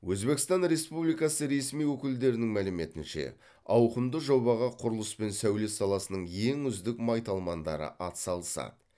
өзбекстан республикасы ресми өкілдерінің мәліметінше ауқымды жобаға құрылыс пен сәулет саласының ең үздік майталмандары атсалысады